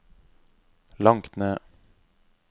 langt ned